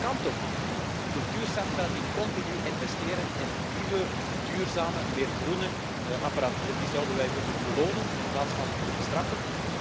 Dat kan toch niet. Cultuurcentra die continu investeren in nieuwe, duurzame, meer groene apparatuur, die zouden wij moeten belonen in plaats van te bestraffen.